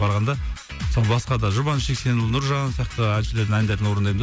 барғанда басқа да жұбаныш жексенұлы нұржан сияқты әншілердің әндерін орындаймын да